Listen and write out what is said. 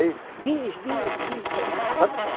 Aí, bis, bis, bis, tornava